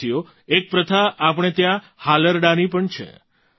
સાથીઓ એક પ્રથા આપણે ત્યાં હાલરડાંની પણ છે